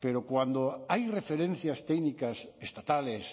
pero cuando hay referencias técnicas estatales